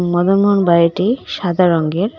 মদনমোহন বাড়িটি সাদা রঙের .